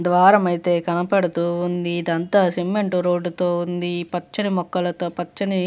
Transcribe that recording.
ద్వారమైతే కనపడుతూ ఉంది. ఇదంతా సిమెంట్ రోడ్డు తో ఉంది. పచ్చడి మొక్కలతో పచ్చని --